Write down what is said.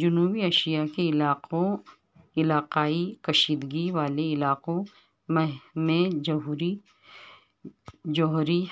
جنوبی ایشیاء کے علاقائی کشیدگی والے علاقوں میںجوہری